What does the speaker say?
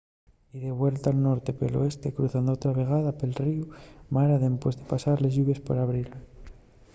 y de vuelta al norte pel oeste cruzando otra vegada pel ríu mara dempués de pasar les lluvies per abril